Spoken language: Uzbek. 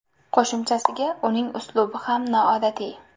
Qo‘shimchasiga uning uslubi ham noodatiy.